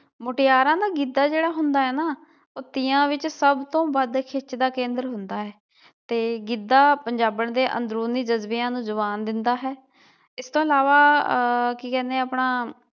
ਮੁਟਿਆਰਾਂ ਨਾ ਗਿੱਧਾ ਜਿਹੜਾ ਹੁੰਦਾ ਏ ਨਾ ਉਹ ਤੀਆਂ ਵਿਚ ਸਭ ਤੋਂ ਵੱਧ ਖਿੱਚ ਦਾ ਕੇਂਦਰ ਹੁੰਦਾ ਹੈ ਤੇ ਗਿੱਧਾ ਪੰਜਾਬਣ ਦੇ ਅੰਦਰੂਨੀ ਜਜ਼ਬਿਆਂ ਨੂੰ ਜਬਾਨ ਦਿੰਦਾ ਹੈ ਇਸ ਤੋਂ ਇਲਾਵਾ ਆਹ ਕੀ ਕਹਿਣੇ ਆਪਣਾ